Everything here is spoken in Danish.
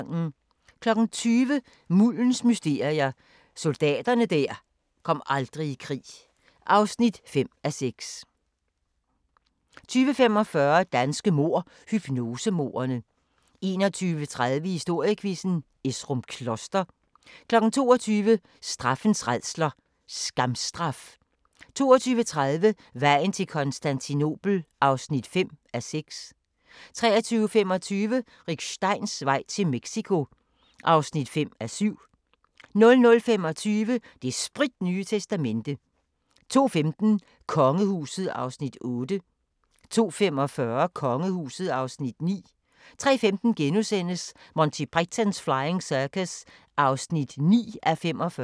20:00: Muldens mysterier – Soldaterne der aldrig kom i krig (5:6) 20:45: Danske mord – hypnosemordene 21:30: Historiequizzen: Esrum Kloster 22:00: Straffens rædsler: Skamstraf 22:30: Vejen til Konstantinopel (5:6) 23:25: Rick Steins vej til Mexico (5:7) 00:25: Det spritnye testamente 02:15: Kongehuset (Afs. 8) 02:45: Kongehuset (Afs. 9) 03:15: Monty Python's Flying Circus (9:45)*